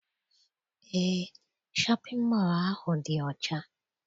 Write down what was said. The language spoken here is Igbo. Eé, shọpịn mọọ ahụ dị ọcha